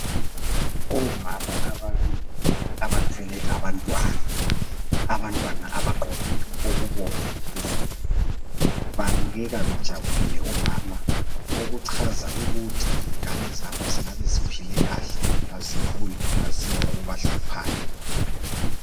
Omama ababili abathwele abantwana, abantwana abagqoke okubomvu phezulu babukeka bejabulile omama okuchaza ukuthi ingane zabo zingabe ziphile kahle aziguli azila okubahluphayo.